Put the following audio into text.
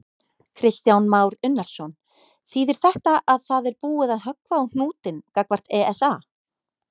Kristján Már Unnarsson: Þýðir þetta að það er búið að höggva á hnútinn gagnvart ESA?